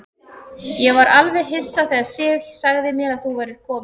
Ég var alveg hissa þegar Sif sagði mér að þú værir kominn.